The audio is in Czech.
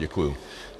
Děkuji.